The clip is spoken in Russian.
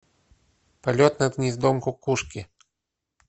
полет над гнездом кукушки